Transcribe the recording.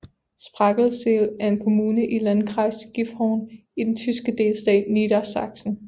Sprakensehl er en kommune i Landkreis Gifhorn i den tyske delstat Niedersachsen